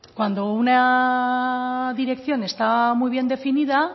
cuando una dirección está muy bien definida